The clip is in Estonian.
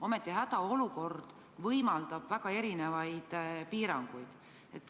Ometi võimaldab hädaolukord kehtestada mitmesuguseid piiranguid.